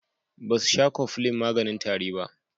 Basu sha cofflin maganin tari ba.